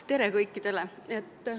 Tere kõikidele!